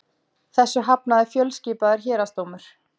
Þessu hafnaði fjölskipaður héraðsdómur